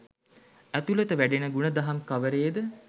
ඇතුළත වැඩෙන ගුණදහම් කවරේද?